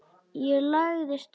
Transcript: Ég lagði strax á flótta.